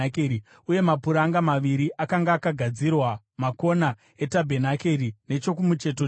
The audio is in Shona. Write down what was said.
uye mapuranga maviri akanga akagadzirirwa makona etabhenakeri nechokumucheto cheto.